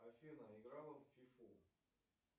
афина играла в фифу